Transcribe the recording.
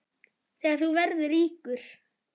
Þegar þú verður ríkur?